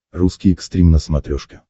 русский экстрим на смотрешке